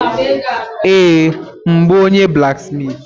Yes, m bụ onye blaksmitị.